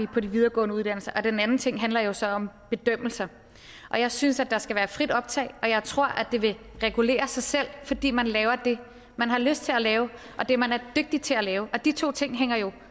på de videregående uddannelser og den anden ting handler jo så om bedømmelser og jeg synes at der skal være frit optag og jeg tror at det vil regulere sig selv fordi man laver det man har lyst til at lave og det man er dygtig til at lave og de to ting hænger jo